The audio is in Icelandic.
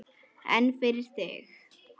En fyrir þig?